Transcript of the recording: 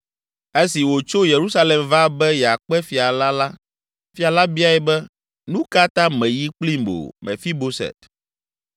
Esi wòtso Yerusalem va be yeakpe fia la la, fia la biae be, “Nu ka ta mèyi kplim o, Mefiboset?”